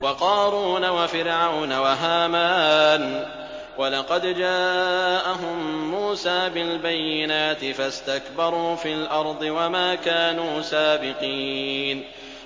وَقَارُونَ وَفِرْعَوْنَ وَهَامَانَ ۖ وَلَقَدْ جَاءَهُم مُّوسَىٰ بِالْبَيِّنَاتِ فَاسْتَكْبَرُوا فِي الْأَرْضِ وَمَا كَانُوا سَابِقِينَ